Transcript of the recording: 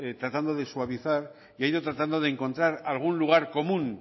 tratando de suavizar y ha ido tratando de encontrar algún lugar común